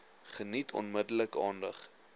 geniet onmiddellik aandag